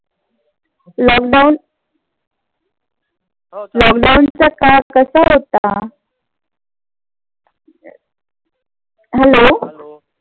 lockdown lockdown चा काळ कसा होता? Hello